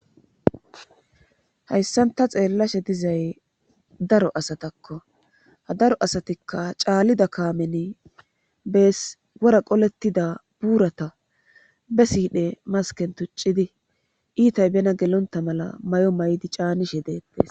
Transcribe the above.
hayssanta xeellashe dizay daro asatakko ha daro asatikka caallida kaameni bees wora qolettida buurata be siidhe masken tuccidi iitay bena gelonta mala mayo maydi caanishe deettes